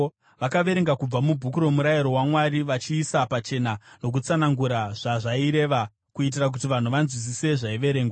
Vakaverenga kubva muBhuku roMurayiro waMwari, vachiisa pachena nokutsanangura zvazvaireva kuitira kuti vanhu vanzwisise zvaiverengwa.